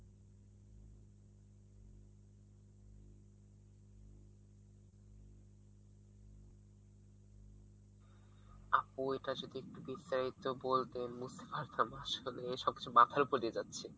আপু এটা যদি একটু বিস্তারিত বলতেন বুঝতে পারতাম আসলে এই সব কিছু মাথার উপর দিয়ে যাচ্ছে।